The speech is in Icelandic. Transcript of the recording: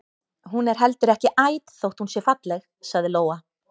Hún er heldur ekki æt þótt hún sé falleg, sagði Lóa.